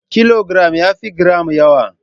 Kilogiram yafi giram nawi.